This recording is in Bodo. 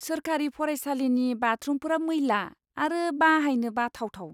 सोरखारि फरायसालिनि बाथरुमफोरा मैला आरो बाहायनो बाथावथाव।